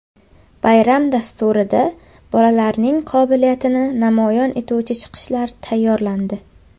Bayram dasturida bolalarning qobiliyatini namoyon etuvchi chiqishlar tayyorlandi.